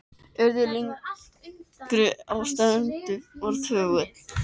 Urðu að lygnri á sem streymdi fram þögul.